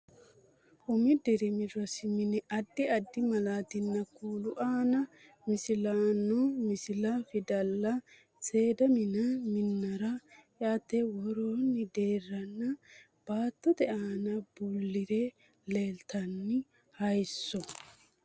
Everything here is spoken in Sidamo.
Umi dirimi rosi mine addi addi malaatinni kuulu aana misilloonni misilla, fidalla, seeda minenna minira eate worroonni deerranna baattote aana bulli're leeltanno haayissso.